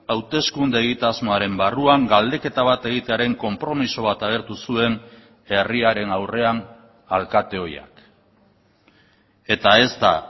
hauteskunde egitasmoaren barruan galdeketa bat egitearen konpromiso bat agertu zuen herriaren aurrean alkate ohiak eta ez da